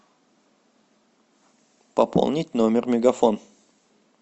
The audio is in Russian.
пополнить номер мегафон